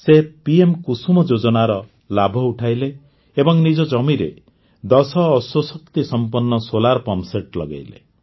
ସେ ପିଏମ କୁସୁମ ଯୋଜନାର ଲାଭ ଉଠାଇଲେ ଏବଂ ନିଜ ଜମିରେ ଦଶ ଅଶ୍ୱଶକ୍ତି ସମ୍ପନ୍ନ ସୋଲାର ପମ୍ପସେଟ୍ ଲଗାଇଲେ